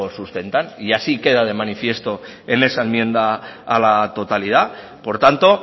sustentan y así queda de manifiesto en esa enmienda a la totalidad por tanto